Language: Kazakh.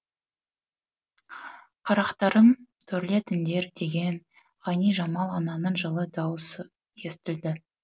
қарақтарым төрлетіңдер деген ғайнижамал ананың жылы дауысы естілді